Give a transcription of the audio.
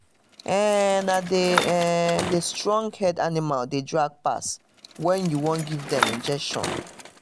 na um the na um the strong-head animals dey drag pass when you wan give dem injection.